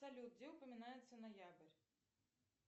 салют где упоминается ноябрь